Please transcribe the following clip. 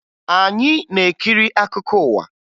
Anyị na-ekiri akụkọ ụwa